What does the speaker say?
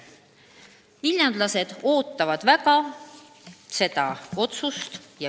Viljandlased ootavad väga seda otsust.